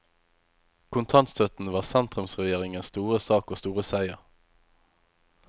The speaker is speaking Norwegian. Kontantstøtten var sentrumsregjeringens store sak og store seier.